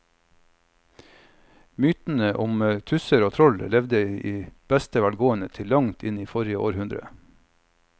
Mytene om tusser og troll levde i beste velgående til langt inn i forrige århundre.